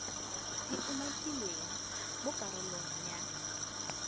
di umakilweng mo karolong ya